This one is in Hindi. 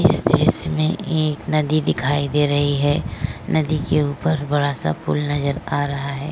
इस दृश्य में एक नदी दिखाई दे रही है। नदी के ऊपर बड़ा सा पुल नजर आ रहा है।